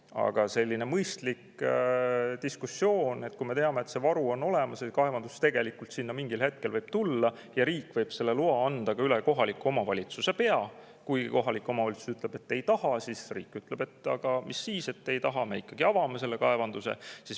Aga selline mõistlik diskussioon, kuna me teame, et meil on varu olemas ja mingil hetkel võib sinna kaevandus tulla, sest riik võib selle loa anda ka üle kohaliku omavalitsuse pea – kui kohalik omavalitsus ütleb, et nad ei taha, siis riik ütleb: "Aga mis siis, et teie ei taha, me ikkagi avame selle kaevanduse.